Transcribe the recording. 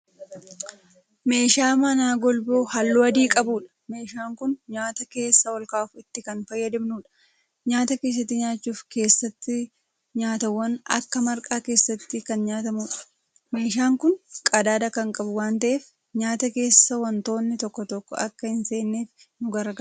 Meeshaa manaa golboo halluu adii qabuudha meeshaan Kuni nyaata keessa olkaa'uf itti Kan fayyadamnuudha. nyaata keessatti nyaachuuf keessattii nyaatawwaan Akka marqaa keessatti Kan nyaatamuudha. meeshaan Kuni qadaada Kan qabu waan ta'eef nyaata keessa wantoonni tokko tokko akka hin seenneef nu gargaara.